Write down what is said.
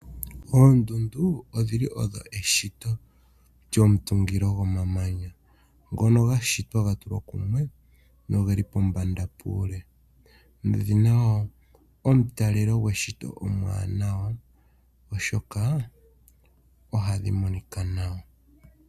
Oondundu odhi li odho eshito lyomutungilo gomamanya ngono ga shitwa ga tulwa kumwe, noge li pombanda puule, nodhi na wo omutalelo gweshito omuwanawa, oshoka ohadhi monika nawa.